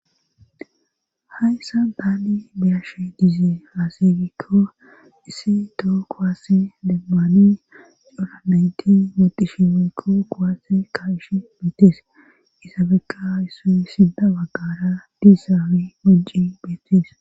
Hayssa daali biyashe diizee haaseygikko issi too kowase lemmani doramenti medushimekko kowaasse ka ish meetees isabekka issoy sida waggara diissaawi minci beetes.